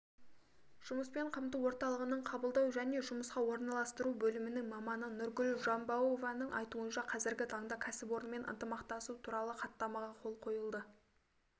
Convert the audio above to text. жұмыспен қамту орталығының қабылдау және жұмысқа орналастыру бөлімінің маманы нұргүл жамбауованың айтуынша қазіргі таңда кәсіпорынмен ынтымақтасу туралы хаттамаға қол қойылды